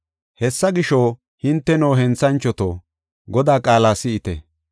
Hessa gisho, hinteno, henthanchoto, Godaa qaala si7ite.